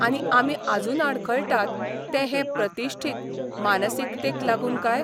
आनी आमी आजून आडखळटात ते हे 'प्रतिश्ठीत 'मानसिकतेक लागून काय?